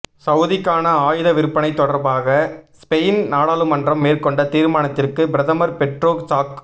சவுதிக்கான ஆயுத விற்பனை தொடர்பாக ஸ்பெயின் நாடாளுமன்றம் மேற்கொண்ட தீர்மானத்திற்கு பிரதமர் பெற்றோ சாக்